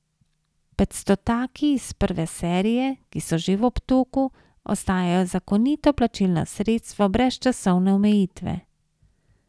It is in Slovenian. Petstotaki iz prve serije, ki so že v obtoku, ostajajo zakonito plačilno sredstvo brez časovne omejitve.